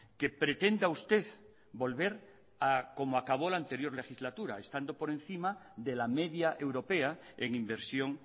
que pretenda usted volver a como acabo la anterior legislatura estando por encima de la media europea en inversión